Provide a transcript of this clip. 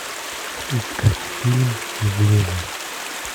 искать фильм явление